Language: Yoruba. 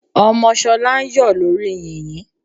Ọmọ Ṣọlá ń yọ̀ lórí yìnyín.